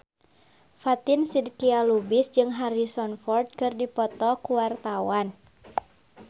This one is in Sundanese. Fatin Shidqia Lubis jeung Harrison Ford keur dipoto ku wartawan